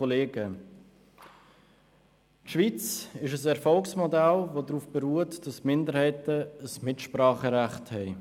Die Schweiz ist ein Erfolgsmodell, das darauf beruht, dass die Minderheiten ein Mitspracherecht haben.